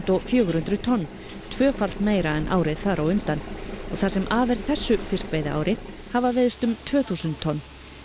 fjögur hundruð tonn tvöfalt meira en árið þar á undan og það sem af er þessu fiskveiðiári hafa veiðst um tvö þúsund tonn